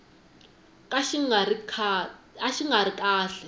ka xi nga ri kahle